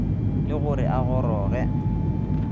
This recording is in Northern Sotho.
le go re a goroge